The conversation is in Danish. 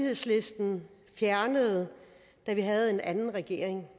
fjernede da vi havde en anden regering